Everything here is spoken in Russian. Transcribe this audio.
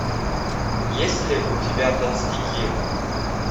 есть ли у тебя толстяки